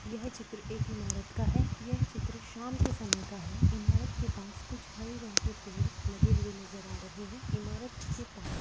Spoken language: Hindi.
यह चित्र एक इमारत का है यह चित्र शाम के समय का है इमारत के पास कुछ हरे रंग के पेड़ लगे हुए नजर आ रहे है ईमारत के पास--